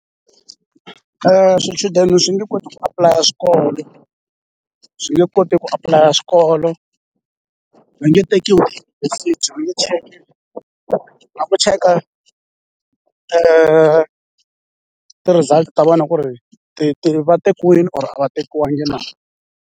Swichudeni swi nge koti ku apulaya swikolo swi nge koti ku apulaya swikolo va nge tekiwi na ku cheka ti-results ta vona ku ri ti ti va tekiwini or va tekiwangi na.